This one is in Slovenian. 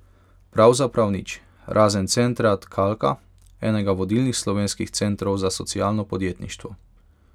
Pravzaprav nič, razen centra Tkalka, enega vodilnih slovenskih centrov za socialno podjetništvo.